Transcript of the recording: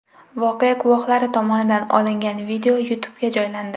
Voqea guvohlari tomonidan olingan video YouTube’ga joylandi .